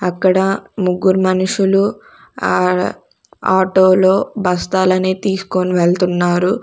అక్కడా ముగ్గురు మనుషులు ఆడ ఆటోలో బస్తాలని తీసుకోని వెళుతున్నారు.